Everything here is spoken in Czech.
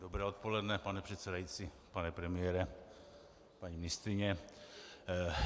Dobré odpoledne, pane předsedající, pane premiére, paní ministryně.